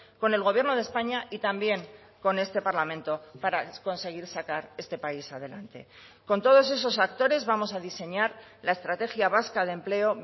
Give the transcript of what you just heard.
con el gobierno de españa y también con este parlamento para conseguir sacar este país adelante con todos esos actores vamos a diseñar la estrategia vasca de empleo